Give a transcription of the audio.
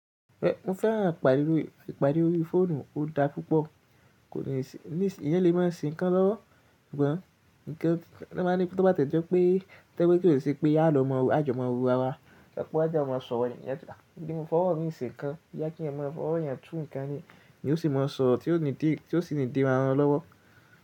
Mo fẹ́ràn ìpàdé lórí fóònù, ó da púpọ̀, kò ní ìṣẹ́lẹ̀ má ń sin kan lọ́wọ́. Sugbon tí o bá ti ẹ jẹ́ pé to jẹ̀ pé kí ó ṣe pé a lọ mọ ajumọ̀wọ́ ara wa, ṣàkọ́já a máa sọ̀rọ̀ ènìyàn níyà jù, kí n fọwọ́ mí se nkan, kí ẹ máa fọwọ́ yàn tú nǹkan ni, ni ó sì máa sọ tí ó sì ní di ra won lọ́wọ́.